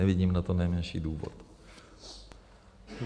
Nevidím na to nejmenší důvod.